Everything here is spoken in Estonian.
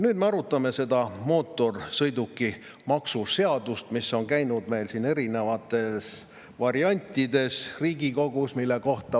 Nüüd me arutame seda mootorsõidukimaksu seaduse, mis on meil siin Riigikogus erinevate variantidena käinud.